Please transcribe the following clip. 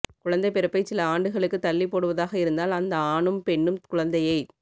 குழந்தைப் பிறப்பைச் சில ஆண்டுகளுக்குத் தள்ளிப் போடுவதாக இருந்தால் அந்த ஆணும் பெண்ணும் குழந்தையைத்